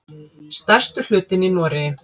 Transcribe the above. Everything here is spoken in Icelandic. Stærstur hlutinn í Noregi.